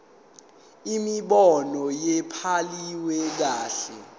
imibono ayibhaliwe kahle